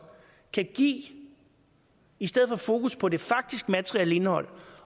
kan give i stedet for fokus på det faktiske materielle indhold